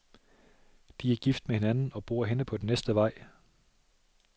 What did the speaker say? De er gift med hinanden og bor henne på den næste vej.